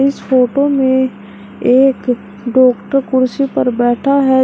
इस फोटो में एक डॉक्टर कुर्सी पर बैठा है।